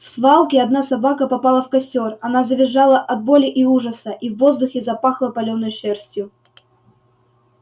в свалке одна собака попала в костёр она завизжала от боли и ужаса и в воздухе запахло палёной шерстью